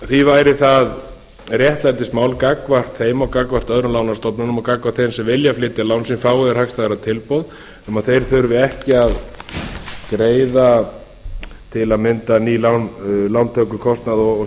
því væri það réttlætismál gagnvart þeim og gagnvart öðrum lánastofnunum og gagnvart þeim sem vilja flytja lán sín fái þeir hagstæðara tilboð um að þeir þurfi ekki að greiða til að mynda ný lán lántökukostnað og